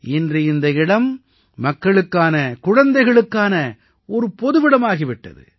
இன்று இந்த இடம் மக்களுக்கான குழந்தைகளுக்கான ஒரு பொதுவிடமாகி விட்டது